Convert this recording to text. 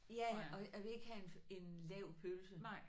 Ja og og jeg vil ikke have en en lav pølse